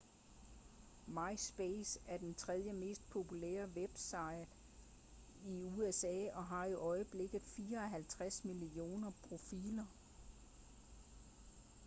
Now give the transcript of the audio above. myspace er den tredje mest populære webside i usa og har i øjeblikket 54 millioner profiler